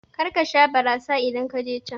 Karka sha barasa idan kaje can